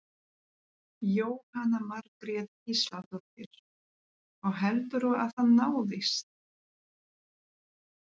Jóhanna Margrét Gísladóttir: Og heldurðu að það náist?